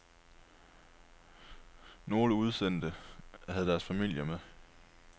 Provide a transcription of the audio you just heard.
Nogle udsendte havde deres familier med.